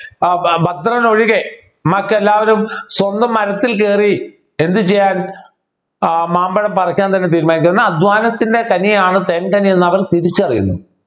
ഏർ ഭദ്രൻ ഒഴികെ മറ്റെല്ലാവരും സ്വന്തം മരത്തിൽ കയറി എന്ത് ചെയ്യാൻ ഏർ മാമ്പഴം പറിക്കാൻ തന്നെ തീരുമാനിച്ചു അധ്വാനത്തിൻ്റെ കനിയാണ് തേൻകനി എന്നവർ തിരിച്ചറിയുന്നു